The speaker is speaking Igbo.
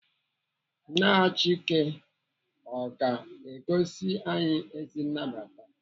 Nne Achike ọ ga-egosi anyị ezi nnabata?